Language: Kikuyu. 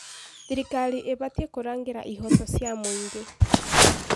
Thirikari ĩbatiĩ kũrangĩra ihooto cia mũingĩ.